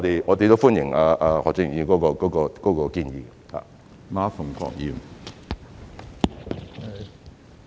我們歡迎何俊賢議員的建議。